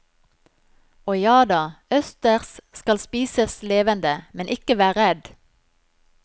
Og jada, østers skal spises levende, men ikke vær redd.